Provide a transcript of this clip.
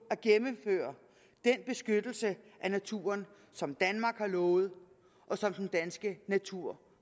at gennemføre den beskyttelse af naturen som danmark har lovet og som den danske natur